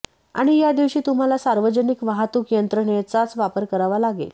आणि यादिवशी तुम्हाला सार्वजनिक वाहतूक यंत्रणेचाच वापर करावा लागेल